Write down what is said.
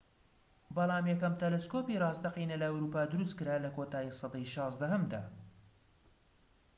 بەڵام یەکەم تەلەسکۆبی راستەقینە لە ئەوروپا دروست کرا لە کۆتایی سەدەی ١٦هەمدا